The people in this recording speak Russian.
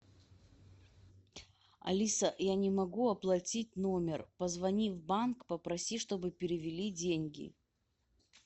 алиса я не могу оплатить номер позвони в банк попроси чтобы перевели деньги